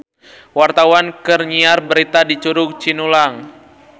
Wartawan keur nyiar berita di Curug Cinulang